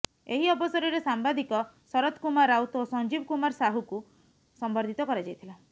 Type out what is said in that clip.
ଏହି ଅବସରରେ ସାମ୍ବାଦିକ ଶରତ କୁମାର ରାଉତ ଓ ସଂଜୀବ କୁମାର ସାହୁଙ୍କୁ ସମ୍ବର୍ଧିତ କରାଯାଇଥିଲା